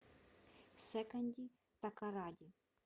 секонди такоради